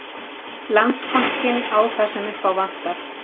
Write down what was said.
Landsbankinn á það sem upp ávantar